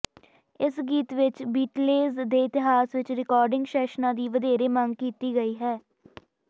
ਇਸ ਗੀਤ ਵਿਚ ਬੀਟਲੇਸ ਦੇ ਇਤਿਹਾਸ ਵਿਚ ਰਿਕਾਰਡਿੰਗ ਸੈਸ਼ਨਾਂ ਦੀ ਵਧੇਰੇ ਮੰਗ ਕੀਤੀ ਗਈ ਹੈ